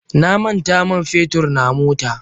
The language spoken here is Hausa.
Na manta man fetur na mota.